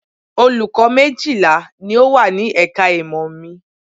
Olùkọ́ méjìlá ni ó wà ní ẹ̀ka ìmọ̀ mi